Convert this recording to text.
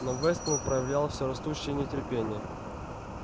но вестон проявлял все растущее нетерпение